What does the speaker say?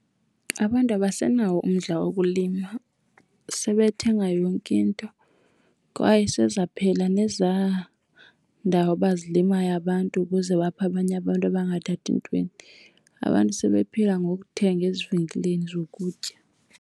Abantu abasenawo umdla wokulima sebethenga yonke into kwaye sezaphela nezaa ndawo bazilimayo abantu ukuze baphe abanye abantu abangathathi ntweni. Abantu sebephila ngokuthenga ezivenkileni zokutya.